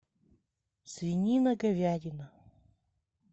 свинина говядина